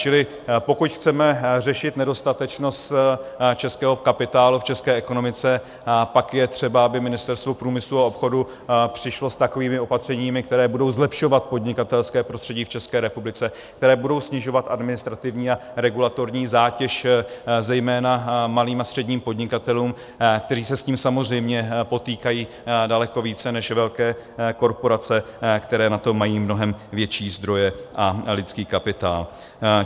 Čili pokud chceme řešit nedostatečnost českého kapitálu v české ekonomice, pak je třeba, aby Ministerstvo průmyslu a obchodu přišlo s takovými opatřeními, která budou zlepšovat podnikatelské prostředí v České republice, která budou snižovat administrativní a regulatorní zátěž zejména malým a středním podnikatelům, kteří se s tím samozřejmě potýkají daleko více než velké korporace, které na to mají mnohem větší zdroje a lidský kapitál.